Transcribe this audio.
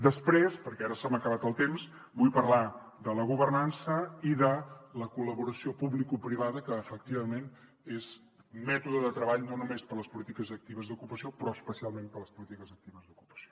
després perquè ara se m’ha acabat el temps vull parlar de la governança i de la col·laboració publicoprivada que efectivament és mètode de treball no només per a les polítiques actives d’ocupació però especialment per a les polítiques actives d’ocupació